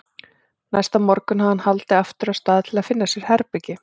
Næsta morgun hafði hann haldið af stað til að finna sér herbergi.